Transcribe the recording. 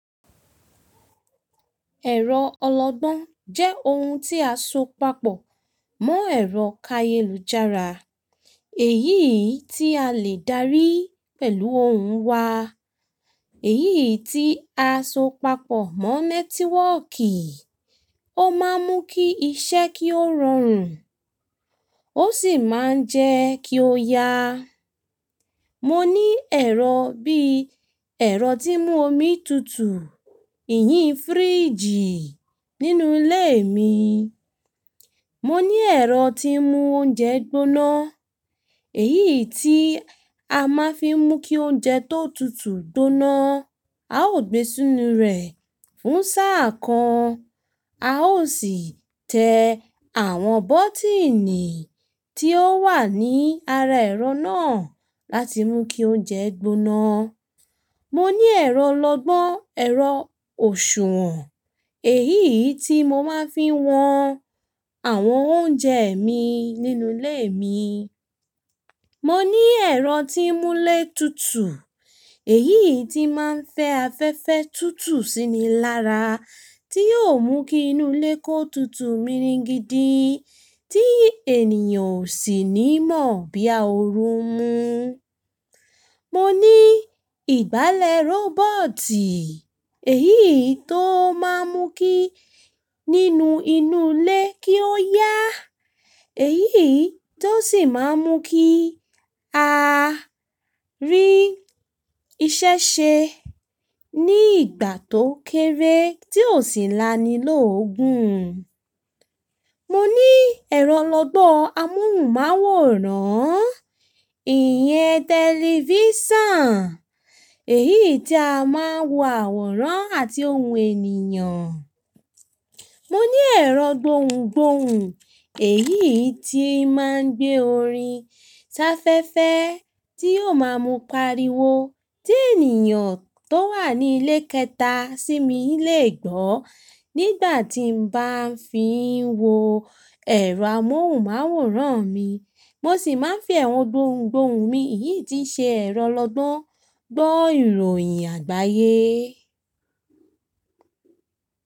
Ero ologbon je oun ti a so papọ̀ mo ero kayelujara, èyí ti a le dari pẹ̀lú ohun wa èyí tí a so papọ̀ mọ́ nẹ́tíwọ́kì, ó máa ń mú kí iṣẹ́ kí ó rọrùn ó sì máa ń jẹ́ kí ó yá. Mo ní ẹ̀rọ bí ẹ̀rọ tí ń mú omi tutù, ìyín fíríjì nínú ilé mi. Mo ní ẹ̀rọ tí ń mú oúnjẹ gbóná, èyí tí a máa fi ń mú kí oúnjẹ tó tutù gbóná. A ó gbé si ínú rẹ̀ fún sáà kan, a ó sì tẹ àwọn bọ́tíìnì tí ó wà ní ara ẹ̀rọ náà láti mú kí oúnjẹ gbóná. Mo ní ẹ̀rọ ọlọgbọ́n, ẹ̀rọ òṣùwọ̀n, èyí tí mo máa ń fi wọn àwọn oúnjẹ mi nínú ilé mi. Mo ní ẹ̀rọ tí ń mú ilé tutù, èyí tí máa ń fẹ́ afẹ́fẹ́ tutù síni lára tí yiò mú kí inú ilé kó tutù miringidi tí ènìyàn ò sì ní mọ̀ bí a óoru n mú. Mo ní ìgbálẹ̀ rọ́bọ̀tì, èyí tó máa ń mú kí nínú inú ilé kí ó yá, èyí tó sì máa ń mú kí a rí iṣẹ́ ṣe ní ìgbà tó kéré tí ò sì lani lógun. Mo ní ẹ̀rọ ọlọgbọ́n amóhùnmáwòrán, ìyẹn telivisiom èyí tí a máa ń wo àwòrán àti ohun ènìyàn. Mo ní ẹ̀rọ gbohùngbohùn, èyí tí máa ń gbé orin ṣafẹ́fẹ́ tí yóò máa mú pariwo tí ènìyàn tó wà ní ilé kẹta sí mi lè gbọ́ nígbà tí n bá fi ń wo ẹ̀rọ amóhùnmáwòrán mi. Mo sì máa ń fi ẹ̀rọ gbohùngbohùn mi, èyí tí ṣe ẹ̀rọ ọlọgbọ́n, gbọ́ ìròyìn àgbáyé.